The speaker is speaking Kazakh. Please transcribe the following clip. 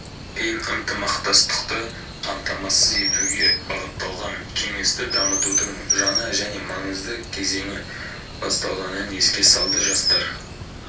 пен ынтымақтастықты қамтамасыз етуге бағытталған кеңесті дамытудың жаңа және маңызды кезеңі басталғанын еске салды жастар